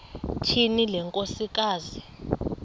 tyhini le nkosikazi